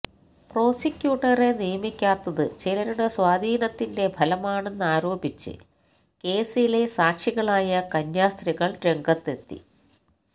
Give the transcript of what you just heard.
പ്രോസിക്യൂട്ടറെ നിയമിക്കാത്തത് ചിലരുടെ സ്വാധീനത്തിന്റെ ഫലമാണെന്നാരോപിച്ച് കേസിലെ സാക്ഷികളായ കന്യാസ്ത്രീകള് രംഗത്തെത്തി